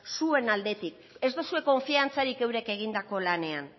zuen aldetik ez duzue konfiantzarik eurek egindako lanean